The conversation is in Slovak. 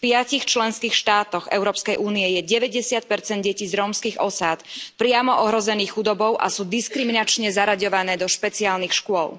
V piatich členských štátoch Európskej únie je 90 detí z rómskych osád priamo ohrozených chudobou a sú diskriminačne zaraďované do špeciálnych škôl.